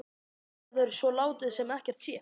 Verður svo látið sem ekkert sé?